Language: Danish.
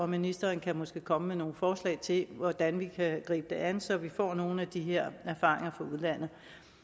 ministeren kan måske komme med nogle forslag til hvordan vi kan gribe det an så vi får nogle af de her erfaringer fra udlandet